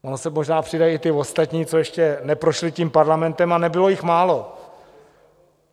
Oni se možná přidají i ti ostatní, co ještě neprošli tím Parlamentem, a nebylo jich málo.